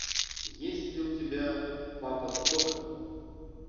есть ли у тебя папа сдохни